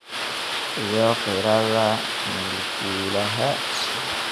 iyo qiirada mulkiilaha.